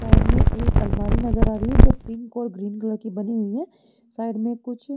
side में एक आलमारी नज़र आ रही है जो पिंक और ग्रीन कलर की बनी हुई है साइड में कुछ--